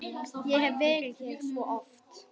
Ég hef verið hér svo oft.